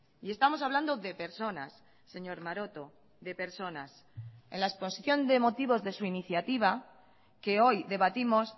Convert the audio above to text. y estamos hablando de personas señor maroto de personas en la exposición de motivos de su iniciativa que hoy debatimos